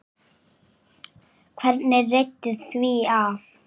Hvernig reiddi því af?